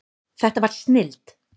Þetta var snilld.